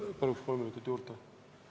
Palun kolm minutit juurde!